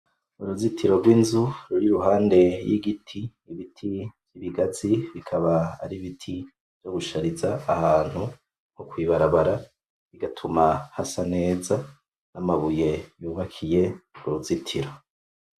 Uruzitiro rw'inzu ruri iruhande y'igiti. Ibiti vy'ibigazi bikaba aribiti vyo gushariza ahantu nko kw'ibarabara bigatuma hasa neza. N'amabuye yubakiye uruzitiro.